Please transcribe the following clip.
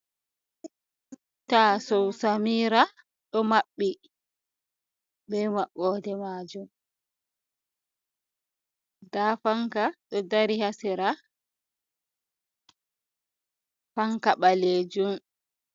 Taso samira do mabbi be mabbode majum, da fanka do dari hasira fanka balejum.